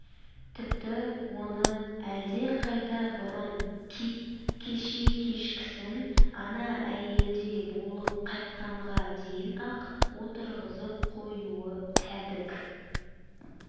тіпті оны әлдеқайда бұрын кит кеше кешкісін ана әйелде болып қайтқанға дейін-ақ отырғызып қоюы кәдік